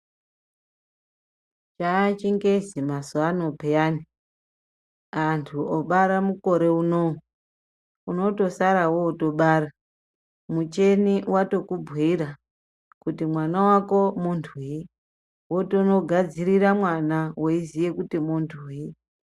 Chachingezi mazuva ano peyani antu obara mukore unou unonotosara votobara micheni vatokubhuira kuti mwana vako muntuyi, votono gadzirira mwana veiziye kuti muntuyi.